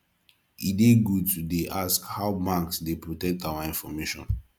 e good to dey ask how banks dey protect our information